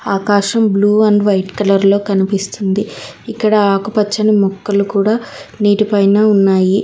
ఆకాశం blue and white colour లో కనిపిస్తుంది ఇక్కడ ఆకుపచ్చని మొక్కలు కూడ నీటిపైన ఉన్నాయి.